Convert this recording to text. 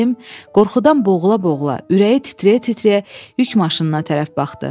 Ağarəhim qorxudan boğula-boğula, ürəyi titrəyə-titrəyə yük maşınına tərəf baxdı.